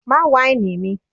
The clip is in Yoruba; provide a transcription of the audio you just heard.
Má wáìnì mi!